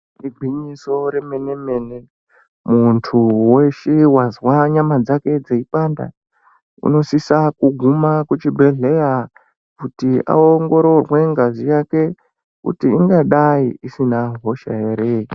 Igwinyiso remene mene muntu weshe wazwa nyama dzake dzeipanda unosisa kuguma kuchibhehleya kuti aongororwe ngazi yake kuti ingadai isina hosha ere.